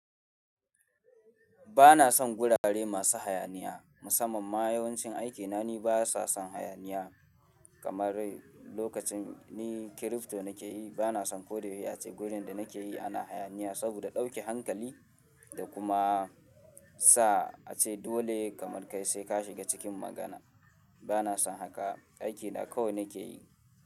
Ba na son gurare masu hayaniya. Musamman ma yawancin aikina ni ba sa son hayaniya. Kamar lokacin ni crypto na ke yi, ba na son ko da ya ce gurin da na ke yi ana hayaniya saboda dauke hankali da kuma sa a ce dole kamar kai sai ka shiga cikin magana. Ba na son haka. Aiki na kawai na ke yi.